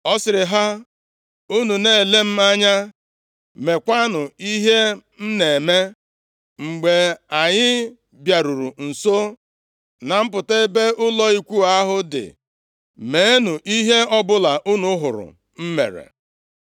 Ọ sịrị ha, “Unu na-ele m anya, meekwa ihe m na-eme. Mgbe anyị bịaruru nso na mpụta ebe ụlọ ikwu ahụ dị, meenụ ihe ọbụla unu hụrụ m mere.